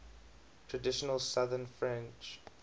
traditional southern french